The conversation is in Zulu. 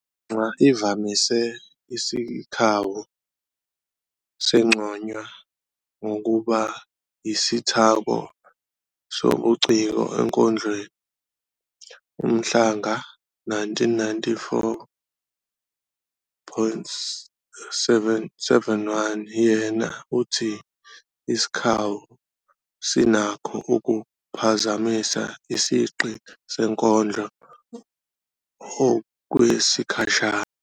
Nxa imvamisa isikhawu sinconywa ngokuba yisithako sobuciko enkondlweni, uMhlanga,1994-71, yena uthi "Isikhawu sinakho ukuphazamisa isigqi senkondlo okwesikhashana."